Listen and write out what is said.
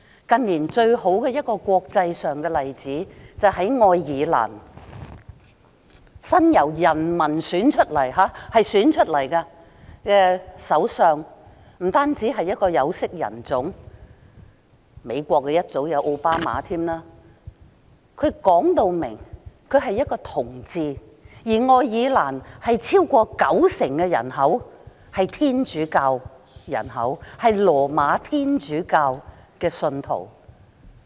近年，最好的一個國際上的例子，是愛爾蘭由人民選出來的首相，他不單是一位有色人種——美國早前也有奧巴馬總統——他更表明是一位同志，而愛爾蘭超過九成人口都是羅馬天主教的信徒。